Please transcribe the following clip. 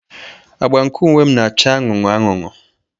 Agba nke uwe m na-acha anụnụ anụnụ.